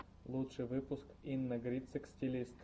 лучший выпуск инна грицык стилист